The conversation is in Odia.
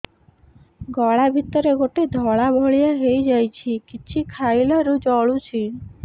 ଗଳା ଭିତରେ ଗୋଟେ ଧଳା ଭଳିଆ ହେଇ ଯାଇଛି କିଛି ଖାଇଲାରୁ ଜଳୁଛି